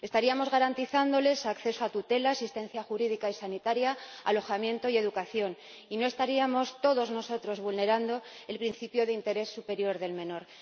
Estaríamos garantizándoles acceso a tutela, asistencia jurídica y sanitaria, alojamiento y educación y no estaríamos todos nosotros vulnerando el principio de interés superior del menor.